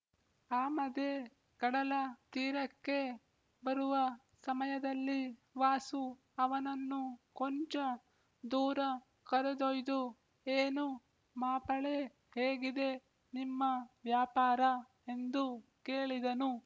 ಆಮದೆ ಕಡಲ ತೀರಕ್ಕೆ ಬರುವ ಸಮಯದಲ್ಲಿ ವಾಸು ಅವನನ್ನು ಕೊಂಚ ದೂರ ಕರೆದೊಯ್ದು ಏನು ಮಾಪಳೆ ಹೇಗಿದೆ ನಿಮ್ಮ ವ್ಯಾಪಾರ ಎಂದು ಕೇಳಿದನು